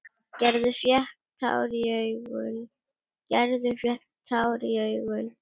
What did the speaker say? Gerður fékk tár í augun.